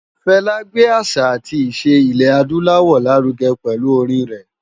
Fela gbé àṣá átì iṣé Ilè-ádùláwò lárùgè pèlú órin rè